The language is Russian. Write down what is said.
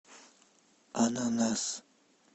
ананас